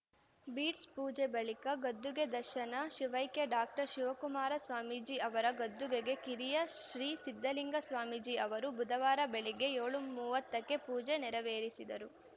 bits ಪೂಜೆ ಬಳಿಕ ಗದ್ದುಗೆ ದರ್ಶನ ಶಿವೈಕ್ಯ ಡಾಕ್ಟರ್ ಶಿವಕುಮಾರ ಸ್ವಾಮೀಜಿ ಅವರ ಗದ್ದುಗೆಗೆ ಕಿರಿಯ ಶ್ರೀ ಸಿದ್ಧಲಿಂಗ ಸ್ವಾಮೀಜಿ ಅವರು ಬುಧವಾರ ಬೆಳಗ್ಗೆ ಏಳು ಮೂವತ್ತಕ್ಕೆ ಪೂಜೆ ನೆರವೇರಿಸಿದರು